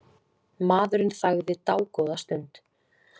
Maðurinn þagði dágóða stund.